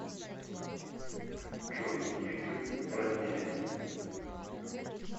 джой ютуб роднее